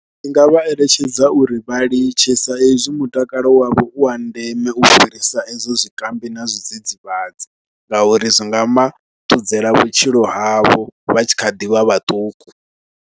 Ndi nga vha eletshedza uri vha litshe sa ezwi mutakalo wavho u wa ndeme u fhirisa edzo zwikambi na zwidzidzivhadzi ngauri zwi nga ma, thudzela vhutshilo havho vha tshi kha ḓi vha vhaṱuku.